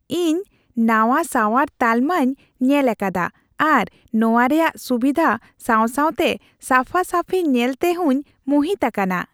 ᱤᱧ ᱱᱟᱶᱟ ᱥᱟᱶᱟᱨ ᱛᱟᱞᱢᱟᱧ ᱧᱮᱞ ᱟᱠᱟᱫᱟ ᱟᱨ ᱱᱚᱶᱟ ᱨᱮᱭᱟᱜ ᱥᱩᱵᱤᱫᱷᱟ ᱥᱟᱣᱥᱟᱣᱛᱮ ᱥᱟᱯᱷᱟᱼᱥᱟᱯᱷᱤ ᱧᱮᱞᱛᱮ ᱦᱚᱸᱧ ᱢᱩᱦᱤᱛ ᱟᱠᱟᱱᱟ ᱾